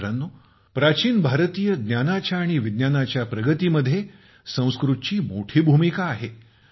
मित्रांनो प्राचीन भारतीय ज्ञानाच्या आणि विज्ञानाच्या प्रगतीमध्ये संस्कृतची मोठी भूमिका आहे